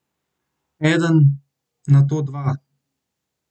Eden, nato dva.